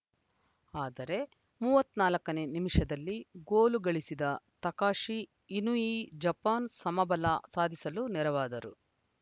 ಆದರೆ ಮೂವತ್ತ್ ನಾಲ್ಕನೇ ನಿಮಿಷದಲ್ಲಿ ಗೋಲು ಗಳಿಸಿದ ತಕಾಷಿ ಇನುಯಿ ಜಪಾನ್‌ ಸಮಬಲ ಸಾಧಿಸಲು ನೆರವಾದರು